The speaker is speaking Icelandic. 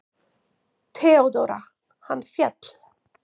THEODÓRA: Hann féll!